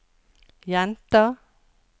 jenter